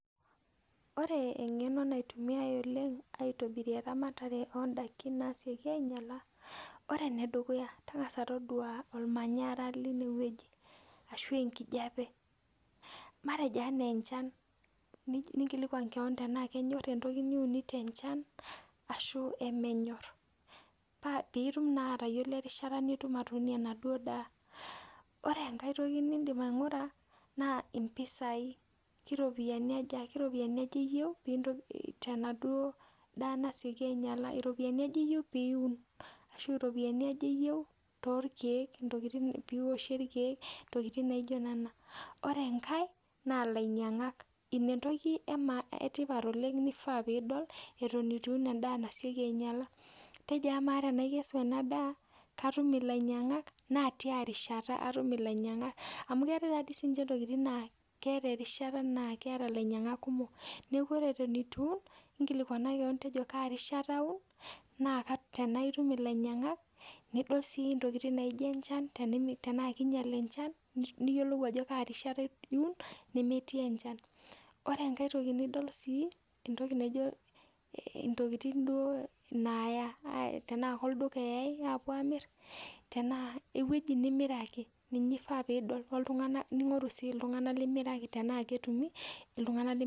Ore eng'eno naitumiai oleng aitobirie rematare oo ndaiki naasioki ainyala, ore enedukuya, tang'asa todua ormanyara linewueji ashu enkijape. Matejo enaa enchan, ninkilikwan keon enaa kenyorr entoki niunito enchan ashu emenyorr piitum naa atayiolo erishata piitum atuunie enaduo daa. Ore enkae toki niindim aing'ura naa impisai, keropoyiani aja, keropiyiani aja iyieu tenaduo daa nasioki ainyala. Iropiyiani aja iyieu pee iun ashu iropiyiani aja iyeu torkiek, piiwoshie irkiek intokiting naijo nena. Ore enkae naa ilainyang'ak. Ina entoki etipat oleng nifaa piidol eton etu iun endaa nasioki ainyala. Tenaikesu ena daa, katum ilainyang'ak? Naa tia rishata atum ilainyang'ak. Amu keetae taadii siininche intokiting naa keeta erishata naa keeta ilainyang'ak kumok. Neeku ore eton etu iun, inkilikwana kaan tejo kaa rishata aun, naa tenaa itum ilainyang'ak nidol sii intokiting naijo enchan, tenaa kiinyal enchan niyiolou erishata niun nemetii enchan. Ore enkae toki nidol sii, entoki naijo, intokiting duo naaya tenaa olduka eyai aapwo aamirr, tenaa ewueji nimiraki ninye ifaa piidol, woltung'anak limiraki, ning'oru sii iltung'anak limiraki enaa ketumi, iltung'anak limiraki